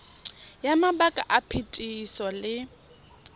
ya mabaka a phetiso le